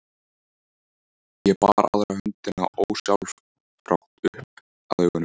Ég bar aðra höndina ósjálfrátt upp að augunum.